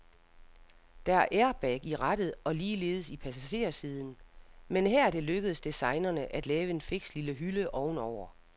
Der er airbag i rattet og ligeledes i passagersiden, men her er det lykkedes designerne at lave en fiks lille hylde ovenover.